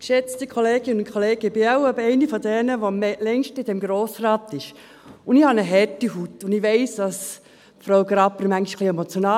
Ich bin wohl eine, die am längsten in diesem Grossen Rat ist, und ich habe eine harte Haut und weiss, dass Frau Graber manchmal etwas emotional ist.